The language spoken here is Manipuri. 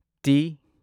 ꯇꯤ